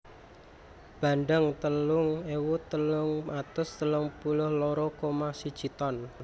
Bandeng telung ewu telung atus telung puluh loro koma siji ton